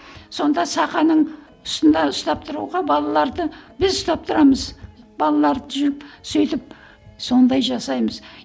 сонда сақаның үстінде ұстап тұруға балаларды біз ұстап тұрамыз балаларды жүріп сөйтіп сондай жасаймыз